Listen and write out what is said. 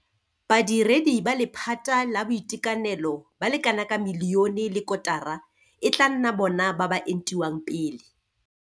Badiredi ba lephata la boitekanelo ba le kanaka milione le kotara e tla nna bona ba ba entiwang pele.